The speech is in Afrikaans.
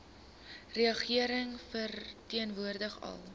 regering verteenwoordig al